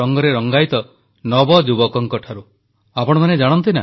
• ନଦୀ ମହୋତ୍ସବ ଦେଶର ସାଂସ୍କୃତିକ ଐକ୍ୟ ପାଇଁ ଗୁରୁତ୍ୱପୂର୍ଣ୍ଣ ପ୍ରଧାନମନ୍ତ୍ରୀ